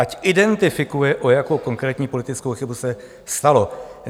Ať identifikuje, o jakou konkrétní politickou chybu se jednalo.